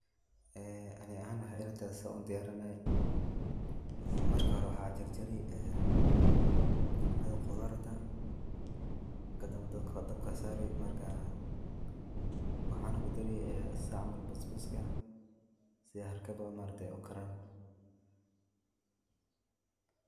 Ee ani ahan waxay ila tahay sidan u diyarinaya ee marka hore waxaa jarjari ee cunada qudarta kadamba dabka sari marka waxaana kudari sida camal basbaska si harakada ma aragtay u karan.